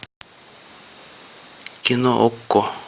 кино окко